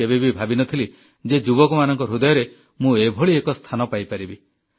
ମୁଁ କେବେବି ଭାବିନଥିଲି ଯେ ଯୁବକମାନଙ୍କ ହୃଦୟରେ ମୁଁ ଏଭଳି ଏକ ସ୍ଥାନ ପାଇପାରିବି